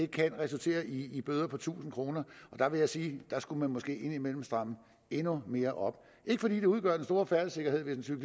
kan resultere i i bøder på tusind kroner der vil jeg sige at der skulle man måske indimellem stramme endnu mere op ikke fordi det udgør den store færdselssikkerheden hvis en